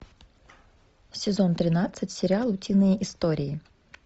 сезон тринадцать сериал утиные истории